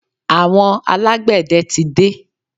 Àwọn alágbẹ̀dẹ tí dé.